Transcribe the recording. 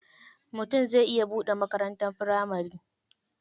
Mutum zai iya buɗe makarantar firamari.